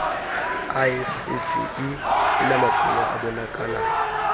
icge inamagunya abonakalayo